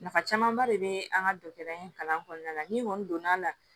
Nafa camanba de be an ka dɔgɔtɔrɔya in kalan kɔɔna la ni kɔni donna a la